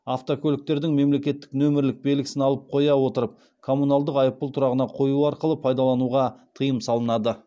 автокөліктердің мемлекеттік нөмірлік белгісін алып қоя отырып коммуналдық айыппұл тұрағына қою арқылы пайдалануға тыйым салынады